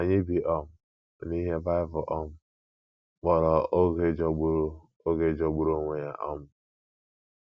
Anyị bi um n’ihe Bible um kpọrọ “ oge jọgburu “ oge jọgburu onwe ya um. ”